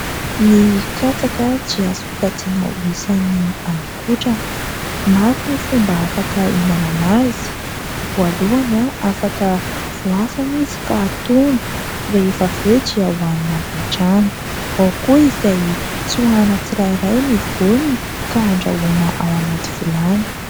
Ny katsaka dia sokajina ho isan'ny haninkotrana. Maro ny fomba afaka hihinanana azy : voalohany afaka voasana izy ka atono rehefa avy eo hohanina avy hatrany, ao koa izay tsoahana tsirairay ny voany ka andrahoana ao anaty vilany.